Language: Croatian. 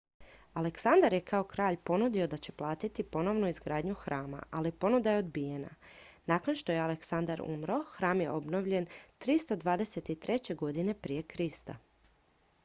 aleksandar je kao kralj ponudio da će platiti ponovnu izgradnju hrama ali ponuda je odbijena nakon što je aleksandar umro hram je obnovljen 323. g pr kr